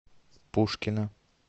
пушкина